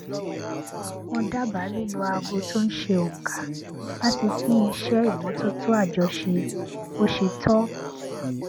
mo dábàá lílo aago tó n ṣe ònkà láti pín iṣé ìmótótó àjọṣe bó ṣe tọ